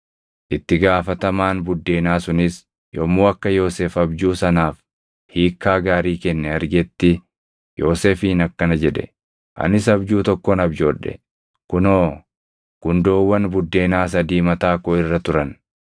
Itti gaafatamaan buddeenaa sunis yommuu akka Yoosef abjuu sanaaf hiikkaa gaarii kenne argetti Yoosefiin akkana jedhe; “Anis abjuu tokkon abjoodhe; kunoo gundoowwan buddeenaa sadii mataa koo irra turan.